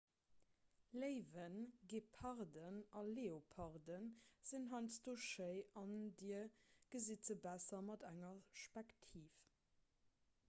léiwen geparden a leoparden sinn heiansdo schei an dir gesitt se besser mat enger spektiv